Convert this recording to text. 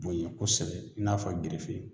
Bonyɛn kosɛbɛ i n'a fɔ gerefe